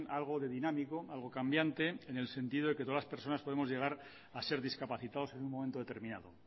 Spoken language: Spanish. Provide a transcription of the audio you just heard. algo de dinámico algo cambiante en el sentido que todas las personas podemos llegar a ser discapacitados en un momento determinado